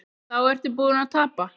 Þá ertu búinn að tapa.